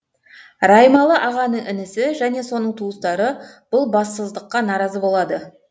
раймалы ағаның інісі және соның туыстары бұл бассыздыққа наразы болады